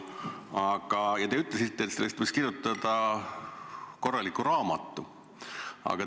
Ja te ütlesite, et sellest võiks kirjutada korraliku raamatu.